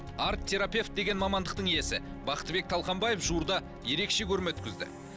арт терапевт деген мамандықтың иесі бақтыбек талқанбаев жуырда ерекше көрме өткізді